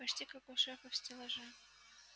почти как у шефа в стеллаже